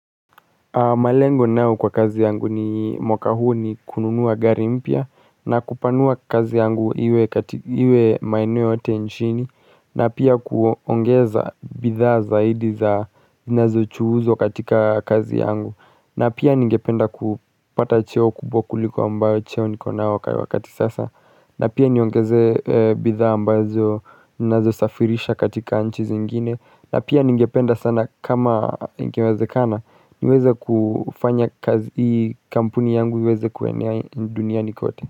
Malengo ninao kwa kazi yangu ni mwaka huu ni kununua gari mpya na kupanua kazi yangu iwe maeneo yote nchini na pia kuongeza bidhaa zaidi zinazo chuhuzwa katika kazi yangu na pia ningependa kupata cheo kubwa kuliko ambayo cheo nikona wakati sasa na pia niongeze bidhaa ambazo ninazo safirisha katika nchi zingine na pia ningependa sana kama ingewezekana niweze kufanya kazi hii kampuni yangu iweze kuwenea duniani kote.